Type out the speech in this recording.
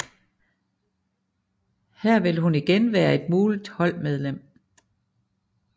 Her vil hun igen være et muligt holdmedlem